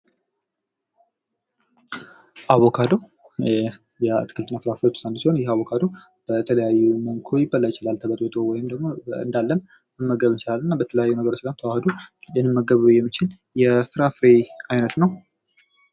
አቮካዶ አትክልትና ፍራፍሬዎች ውስጥ አንዱ ሲሆን ይህ አቮካዶ በተለያዩ መልኩ ሊበላ ይችላል ወይም እንዳለም መመገብ እንችላለን በተለያዩ ነገሮች ጋር ተዋህዶ ድንጋዩን ልንመገበው የምንችል የፍራፍሬ አይነት ነው